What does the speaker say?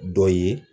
Dɔ ye